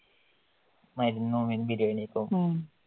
മരുന്നും മുൻ നിരയിലെ ഇപ്പോം